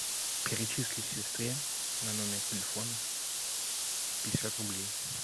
перечисли сестре на номер телефона пятьдесят рублей